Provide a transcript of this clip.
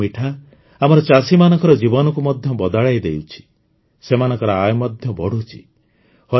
ମହୁର ମିଠା ଆମର ଚାଷୀମାନଙ୍କର ଜୀବନକୁ ମଧ୍ୟ ବଦଳାଇଦେଉଛି ସେମାନଙ୍କର ଆୟ ମଧ୍ୟ ବଢ଼ୁଛି